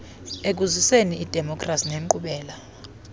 ekuziseni idemokhrasi nenkqubela